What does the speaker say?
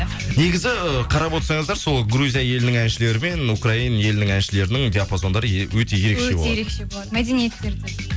негізі і қарап отырсаңыздар сол грузия елінің әншілері мен украин елінің әншілерінің диапозондары өте ерекше болады мәдениеттері де